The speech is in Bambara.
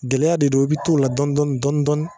Gɛlɛya de don i be t'o la dɔni dɔni